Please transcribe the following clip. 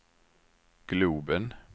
globen